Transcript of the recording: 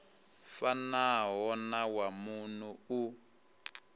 fanaho na wa muno u